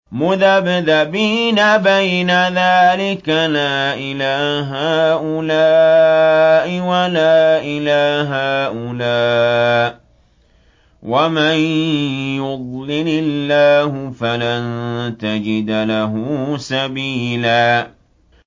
مُّذَبْذَبِينَ بَيْنَ ذَٰلِكَ لَا إِلَىٰ هَٰؤُلَاءِ وَلَا إِلَىٰ هَٰؤُلَاءِ ۚ وَمَن يُضْلِلِ اللَّهُ فَلَن تَجِدَ لَهُ سَبِيلًا